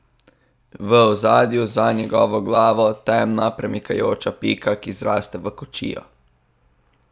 V ozadju za njegovo glavo temna premikajoča pika, ki zraste v kočijo.